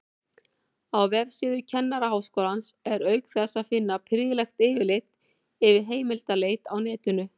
Á vefsíðu Kennaraháskólans er auk þess að finna prýðilegt yfirlit yfir heimildaleit á netinu.